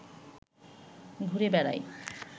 ঘুরে বেড়ায়